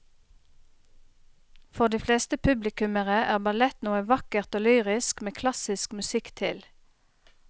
For de fleste publikummere er ballett noe vakkert og lyrisk med klassisk musikk til.